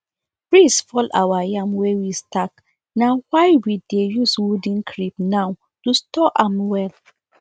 breeze fall our yam wey we stack na why we dey use wooden crib now to store am well